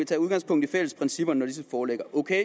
tage udgangspunkt i de fælles principper når disse foreligger ok